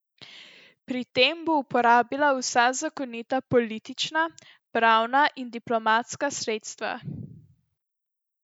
Pri tem bo uporabila vsa zakonita politična, pravna in diplomatska sredstva.